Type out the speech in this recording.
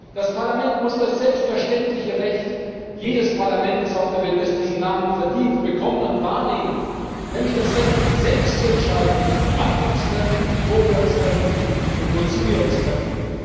Das Parlament muss das selbstverständliche Recht jedes Parlaments auf der Welt, das diesen Namen verdient, bekommen und wahrnehmen, nämlich das Recht, selbst zu entscheiden, wann wir uns treffen, wo wir uns treffen und wozu wir uns treffen.